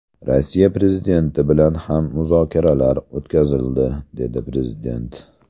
Rossiya prezidenti bilan ham muzokaralar o‘tkazildi”, dedi prezident.